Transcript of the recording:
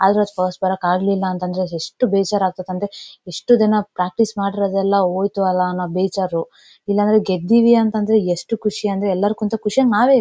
ಆದ್ರೂ ಫಸ್ಟ್ ಬರೋಕ್ ಆಗ್ಲಿಲ್ಲ ಅಂದ್ರೆ ಎಷ್ಟು ಬೇಜಾರಾಗ್ತಾವೆ ಅಂದ್ರೆ ಇಷ್ಟು ದಿನ ಪ್ರಾಕ್ಟೀಸ್ ಮಾಡಿರೋದೆಲ್ಲ ಹೊಯ್ತು ಅಲ್ಲ ಅನ್ನೋ ಬೇಜಾರು ಇಲ್ಲಾಂದ್ರೆ ಗೆದ್ದಿವಿ ಅಂತಂದ್ರೆ ಎಷ್ಟು ಖುಷಿ ಅಂದ್ರೆ ಎಲ್ಲಾರ್ ಕಿಂಥ ಖುಷಿಯಾಗಿ ನಾವೇ ಇರ್--